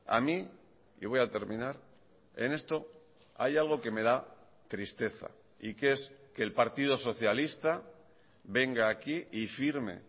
a mí y voy a terminar en esto hay algo que me da tristeza y que es que el partido socialista venga aquí y firme